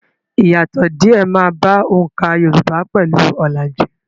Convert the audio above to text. Ìyàtọ̀ díè máa bá oǹkà Yorùbá pẹ̀lú ọ̀làjú.